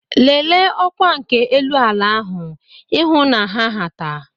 Lelee ọkwa nke elu ala ahu ihụ na ha hata.